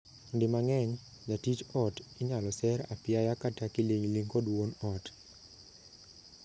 Di mang'eny, jatich ot inyal ser apiaya kata kiling'ling' kod wuon ot.